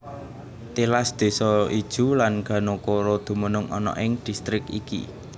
Tilas désa Ijuw lan Ganokoro dumunung ana ing distrik iki